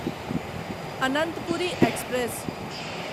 Ananthapuri express